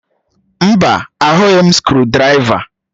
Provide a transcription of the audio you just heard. Mba, ahụghị m skrụdiraiva